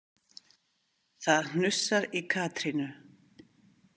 Það hnussar í Katrínu.